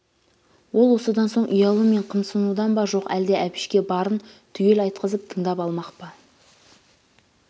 ол осыдан соң ұялу мен қымсынудан ба жоқ әлде әбішке барын түгел айтқызап тыңдап алмақ па